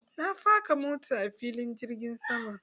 Na faka mota na a filin jirgin sama.